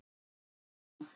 Einar Má.